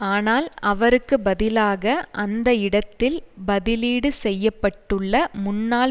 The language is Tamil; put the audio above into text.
ஆனால் அவருக்கு பதிலாக அந்த இடத்தில் பதிலீடு செய்ய பட்டுள்ள முன்னாள்